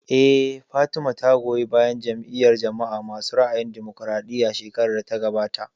Eh, Fatima ta goyi bayan Jam'iyar jama'a masu ra'ayin damokaraɗiya shekarar da ta gabata